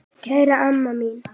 Kæra amma mín.